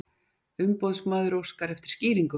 Umboðsmaður óskar eftir skýringum